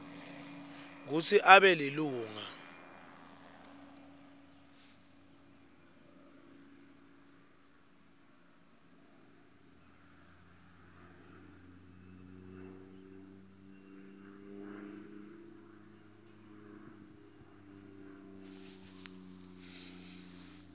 kutsi abe lilunga